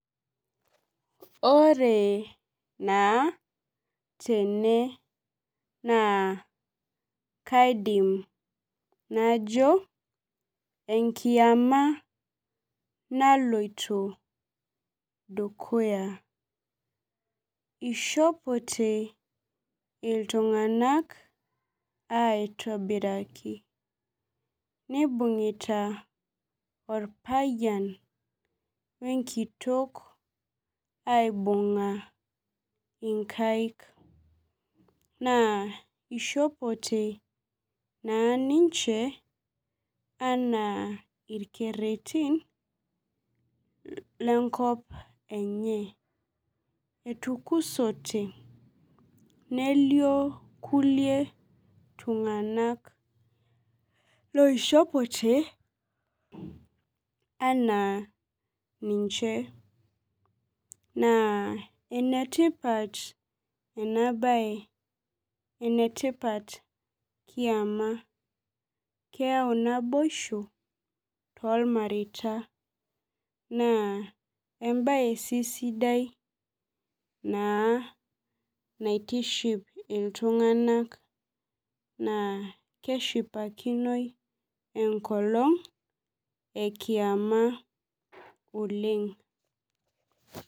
Ore naa tene naa kaidim najo enkiama naloito dukuya. Ishopote iltung'anak aitobiraki. Nibung'ita orpayian wenkitok aibung'a inkaik. Naa ishopote naa ninche, anaa irkerretin, lenkop enye. Etukusote nelio kulie tung'anak loishopote, anaa ninche. Naa enetipat enabae. Enetipat kiama, keeu naboisho, tolmareita. Naa ebae sidai naa naitiship iltung'anak naa keshipakinoi enkolong ekiama oleng.